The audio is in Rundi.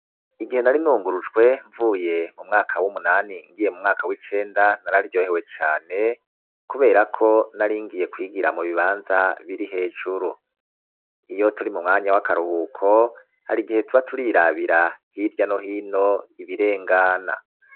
igihe nari nungurujwe mvuye mumwaka w'umunani ngiye mu mwaka w'icenda nararyohewe cane kuberako naringiye kwigira mu bibanza biri hejuru iyoturi mu mwanya w'akaruhuko harigihe tuba turirabira hirya no hino ibirengana